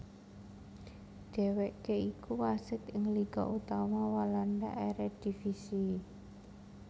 Dhêwêké iku wasit ing liga utama Walanda Eredivisie